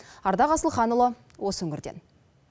алдақ асылханұлы осы өңірден